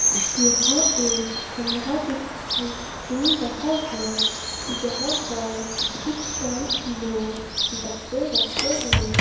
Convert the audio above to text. यह एक कमरा दिखाएं दे रहा है जहां पर कुछ शेल्फ में डब्बे रखे हुए--